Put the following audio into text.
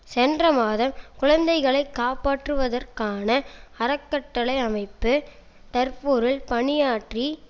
சென்ற மாதம் குழந்தைகளை காப்பாற்றுவதற்கான அறக்கட்டளை அமைப்பு டர்புரில் பணியாற்றி